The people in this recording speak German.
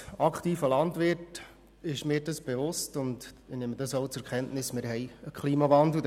Als aktiver Landwirt ist mir bewusst – und ich nehme das auch zur Kenntnis –, dass wir einen Klimawandel haben.